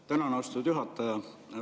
Tänan, austatud juhataja!